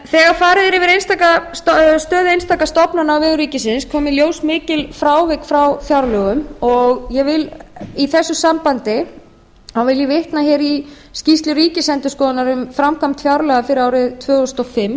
þegar farið er yfir stöðu einstakra stofnana á vegum ríkisins koma í ljós mikil frávik frá fjárlögum ég vil i þessu sambandi vitna hér í skýrslu ríkisendurskoðunar um framkvæmd fjárlaga fyrir árið tvö þúsund og fimm